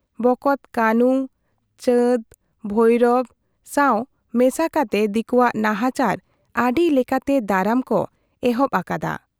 ᱵᱚᱠᱚᱛ ᱠᱟᱹᱱᱷᱩ, ᱪᱟᱸᱫᱽ, ᱵᱷᱟᱭᱨᱚ ᱥᱟᱶ ᱢᱮᱥᱟ ᱠᱟᱛᱮ ᱫᱤᱠᱩᱣᱟᱜ ᱱᱟᱦᱟᱪᱟᱨ ᱟᱹᱰᱤ ᱞᱮᱠᱟᱛᱮ ᱫᱟᱨᱟᱢ ᱠᱚ ᱮᱦᱚᱵ ᱟᱠᱟᱫ ᱟ ᱾